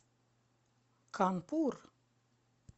канпур